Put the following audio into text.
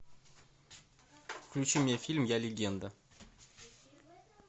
включи мне фильм я легенда